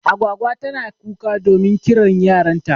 Agwagwa tana kuka domin kiran yaran ta.